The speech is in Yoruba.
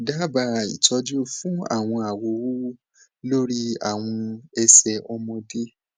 dabaa itọju fun awọn awo wuwu lori awọn ẹsẹ ọmọde